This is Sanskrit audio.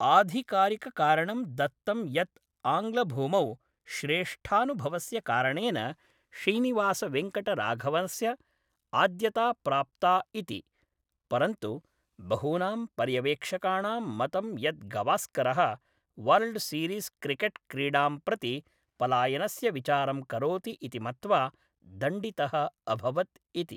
आधिकारिककारणं दत्तं यत् आङ्ग्लभूमौ श्रेष्ठानुभवस्य कारणेन श्रीनिवास वेङ्कटराघवनस्य आद्यता प्राप्ता इति, परन्तु बहूनां पर्यवेक्षकाणां मतं यत् गवास्करः, वर्ल्ड् सीरीस् क्रिकेट् क्रीडां प्रति पलायनस्य विचारं करोति इति मत्वा दण्डितः अभवत् इति।